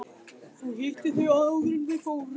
Þú hittir þau áður en þau fóru.